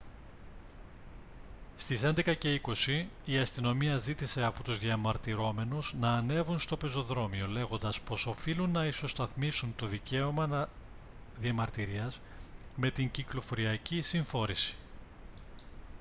στις 11:20 η αστυνομία ζήτησε από τους διαμαρτυρόμενους να ανέβουν στο πεζοδρόμιο λέγοντας πως οφείλουν να ισοσταθμίσουν το δικαίωμα να διαμαρτυρίας με την κυκλοφοριακή συμφόρηση